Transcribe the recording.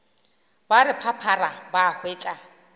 ba re phaphara ba hwetša